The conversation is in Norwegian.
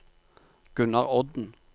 Gunnar Odden